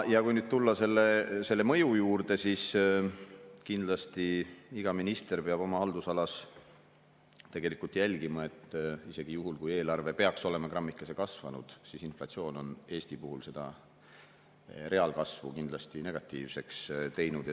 Kui nüüd tulla selle mõju juurde, siis kindlasti iga minister peab oma haldusalas jälgima seda, et isegi juhul, kui eelarve peaks olema grammikese kasvanud, siis inflatsioon on Eesti puhul selle reaalkasvu kindlasti negatiivseks teinud.